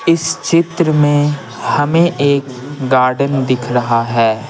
इस चित्र में हमें एक गार्डन दिख रहा है।